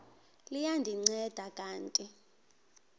liya ndinceda kanti